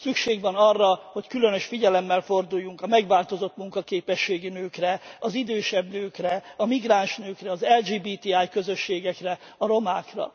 Szükség van arra, hogy különös figyelemmel forduljunk a megváltozott munkaképességű nőkre, az idősebb nőkre, a migráns nőkre, az LGBT közösségekre, a romákra.